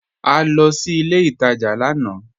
À lọ sí ilẹ̀ ìtajá lànà